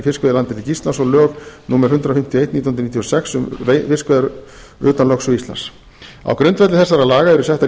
fiskveiðilandhelgi íslands og lög númer hundrað fimmtíu og eitt nítján hundruð níutíu og sex um fiskveiðar utan lögsögu íslands á grundvelli þessara laga eru settar